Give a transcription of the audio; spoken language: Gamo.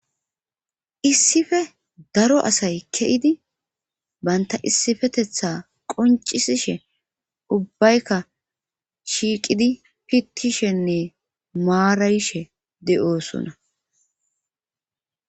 Issife daro asay ke'idi banta issifetetha qoncisishe ubbaykka shiiqidi pittishenne maarayishe de'oosona.